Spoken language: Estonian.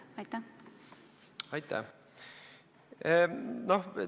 Aitäh!